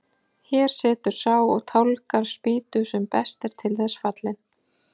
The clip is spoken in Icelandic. Hér situr sá og tálgar spýtu sem best er til þess fallinn.